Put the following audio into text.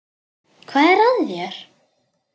Hvað er að þér?